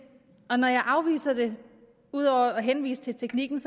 og når jeg afviser det ud over at henvise til teknikken